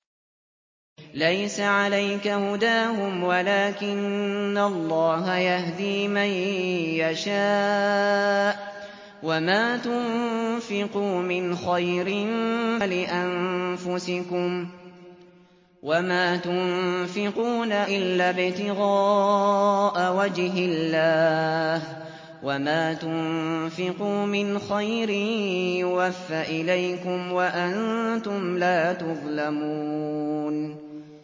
۞ لَّيْسَ عَلَيْكَ هُدَاهُمْ وَلَٰكِنَّ اللَّهَ يَهْدِي مَن يَشَاءُ ۗ وَمَا تُنفِقُوا مِنْ خَيْرٍ فَلِأَنفُسِكُمْ ۚ وَمَا تُنفِقُونَ إِلَّا ابْتِغَاءَ وَجْهِ اللَّهِ ۚ وَمَا تُنفِقُوا مِنْ خَيْرٍ يُوَفَّ إِلَيْكُمْ وَأَنتُمْ لَا تُظْلَمُونَ